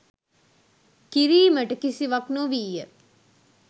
කිරීමට කිසිවක් නොවීය.